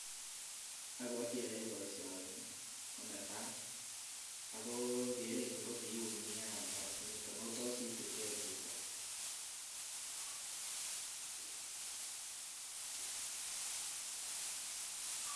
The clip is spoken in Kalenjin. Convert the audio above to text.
Abwati oyoe boisioni ko netai ago kerenyun ko kiu nyaa kasinito ago tos itilge chito.